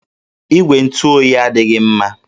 Igwe ntụ oyi adịghị mma